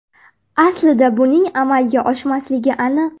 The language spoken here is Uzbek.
Aslida buning amalga oshmasligi aniq.